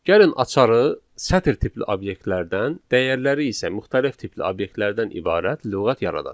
Gəlin açarı sətir tipli obyektlərdən, dəyərləri isə müxtəlif tipli obyektlərdən ibarət lüğət yaradaq.